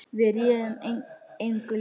Við réðum engu lengur.